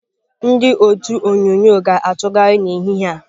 Ndị otu onyunyo ga-atụgharị n'ehihie a.